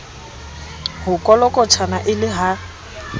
ho kolokotjhana e le ha